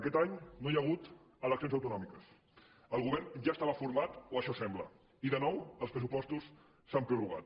aquest any no hi ha hagut eleccions autonòmiques el govern ja estava format o això sembla i de nou els pressupostos s’han prorrogat